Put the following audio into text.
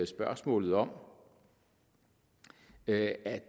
spørgsmålet om at